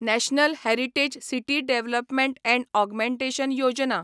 national heritage city development and augmentation Yojana